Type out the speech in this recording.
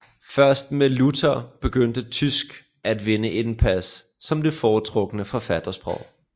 Først med Luther begyndte tysk at vinde indpas som det foretrukne forfattersprog